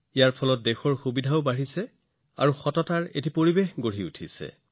এইটোৱে দেশত সুবিধা বৃদ্ধি কৰিছে আৰু সততাৰ পৰিৱেশো সৃষ্টি কৰিছে